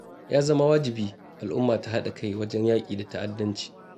Ya zama wajibi al'umma ta haɗa kai wajen yaƙi da ta'addanci.